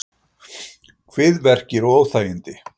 Kviðverkir og óþægindi